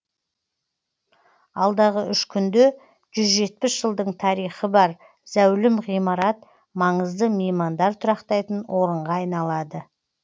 алдағы үш күнде жүз жетпіс жылдың тарихы бар зәулім ғимарат маңызды меймандар тұрақтайтын орынға айналады